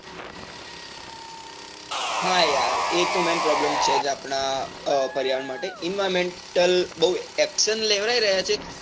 હા યાર એતો main, problem છે. આપણા પર્યાવરણ માટે environmental બૌ action લેવાઈ રહ્યા છે.